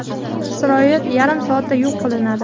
Isroil yarim soatda yo‘q qilinadi .